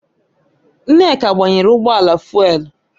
Nneka gbanyere ụgbọala fụ́élú